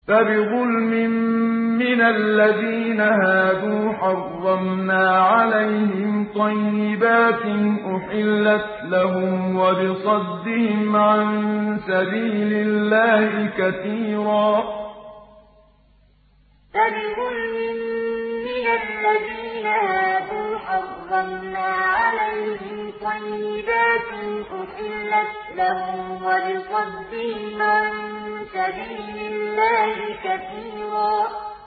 فَبِظُلْمٍ مِّنَ الَّذِينَ هَادُوا حَرَّمْنَا عَلَيْهِمْ طَيِّبَاتٍ أُحِلَّتْ لَهُمْ وَبِصَدِّهِمْ عَن سَبِيلِ اللَّهِ كَثِيرًا فَبِظُلْمٍ مِّنَ الَّذِينَ هَادُوا حَرَّمْنَا عَلَيْهِمْ طَيِّبَاتٍ أُحِلَّتْ لَهُمْ وَبِصَدِّهِمْ عَن سَبِيلِ اللَّهِ كَثِيرًا